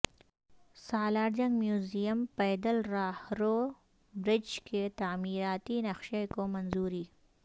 Salar Jung museum پیدل راہرو برج کے تعمیراتی نقشہ کو منظوری